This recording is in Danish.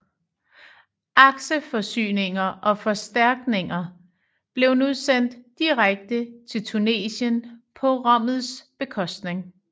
Akseforsyninger og forstærkninger blev nu sendt direkte til Tunesien på Rommels bekostning